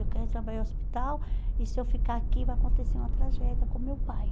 Eu quero ir trabalhar no hospital e se eu ficar aqui vai acontecer uma tragédia com meu pai.